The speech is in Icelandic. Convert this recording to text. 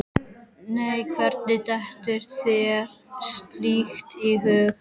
Nei, hvernig dettur þér slíkt í hug?